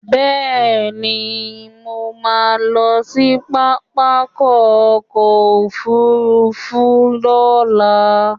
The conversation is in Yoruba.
Bẹ́ẹ̀ni, mo ma lọ sí pápákọ̀ ọ̀kọ òfurufú ní ọ̀la